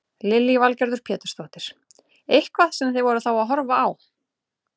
Lillý Valgerður Pétursdóttir: Eitthvað sem þið voruð þá að horfa á?